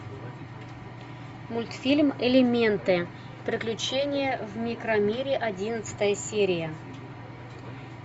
мультфильм элементы приключения в микромире одиннадцатая серия